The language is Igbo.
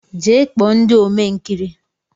Jee kpo ndị Ome nkiri!